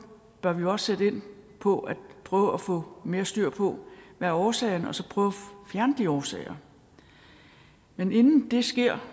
bør vi også sætte ind på at prøve at få mere styr på hvad årsagen er og så prøve at fjerne de årsager men inden det sker